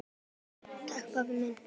Takk pabbi minn.